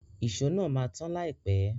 Ìṣó náà máa to tan láìpẹ́.